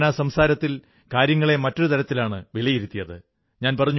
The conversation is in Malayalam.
ഞാൻ ആ സംസാരത്തിൽ കാര്യങ്ങളെ മറ്റൊരു തരത്തിലാണ് വിലയിരുത്തിയത്